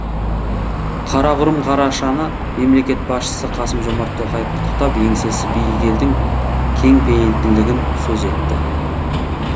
қарақұрым қарашаны мемлекет басшысы қасым жомарт тоқаев құттықтап еңсесі биік елдің кеңпейілділігін сөз етті